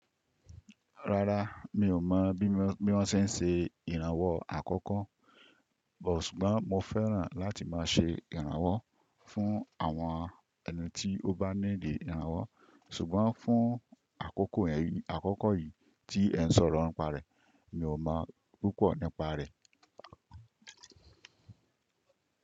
Rárá, mi ò mọ̀ bí wọ́n ṣe ń ṣe ìrànwọ́ àkọ́kọ́. Bo ṣùgbọ́n mo fẹ́ràn láti máa ṣe ìrànwọ́ fún àwọn ẹni tí ó bá niidi ìrànwọ́. Ṣùgbọ́n fún àkókò yìí tí ẹ ń sọ̀rọ̀ nípa rẹ̀, mi ò mọ̀ púpọ̀ nípa rẹ̀.